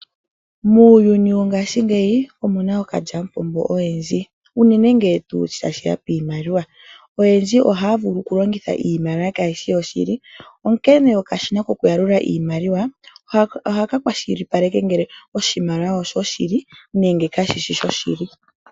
Muuyuni wongashingeyi omu na ookalyamupombo oyendji, unene ngele tashi ya piimaliwa. Oyendji ohaa vulu okulongitha iimaliwa kaayi shi yoshili, onkene okashina kokuyalula iimaliwa ohaka kwashilipaleke ngele oshimaliwa oshoshili nenge kashi shi shoshili.